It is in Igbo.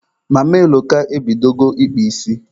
Mama Eloka e bidogo ịkpa isi.